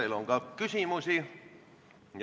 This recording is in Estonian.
Teile on ka küsimusi.